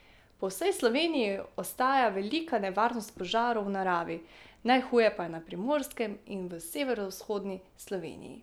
Po vsej Sloveniji ostaja velika nevarnost požarov v naravi, najhuje pa je na Primorskem in v severovzhodni Sloveniji.